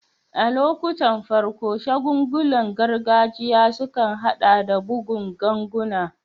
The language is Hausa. A lokuttan farko, shagulgulan gargajiya sukan haɗa da bugun ganguna.